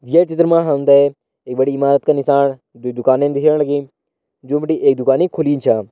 ये चित्र मां हमतें एक बड़ी ईमारत का निसाण द्वी दुकानि छन दिखेण लगीं जों बटी एक दुकानी खुली छं।